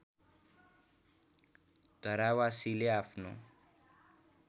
धरावासीले आफ्नो